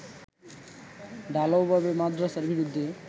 ঢালাও ভাবে মাদ্রাসার বিরুদ্ধে